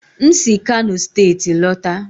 m si kano steeti lọta.